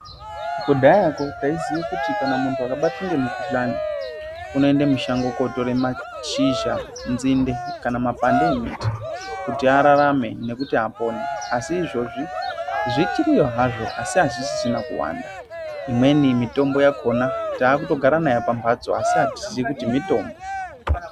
akudhayako taiziye kuti muntu akabatwa ngemukhuhlani, unoende mushango kootore mashizha, nzinde, kana mapande emiti ,kuti ararame nekuti apone. Asi izvezvi zvichiriyo hazvo, asi azvisisina kuwanda. Imweni mitombo yakhona taakutogara nayo pamphatso asi atiziyi kuti mitombo.